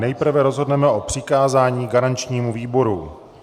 Nejprve rozhodneme o přikázání garančnímu výboru.